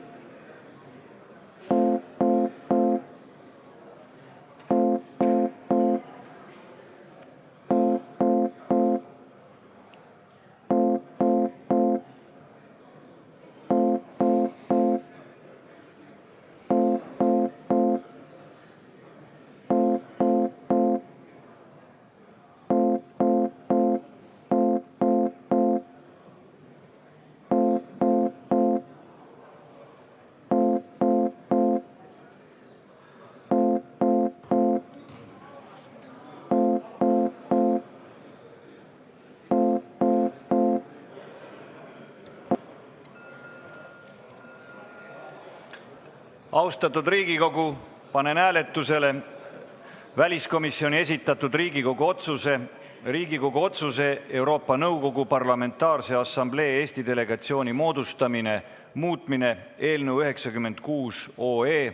Austatud Riigikogu, panen hääletusele väliskomisjoni esitatud Riigikogu otsuse "Riigikogu otsuse "Euroopa Nõukogu Parlamentaarse Assamblee Eesti delegatsiooni moodustamine" muutmine" eelnõu 96.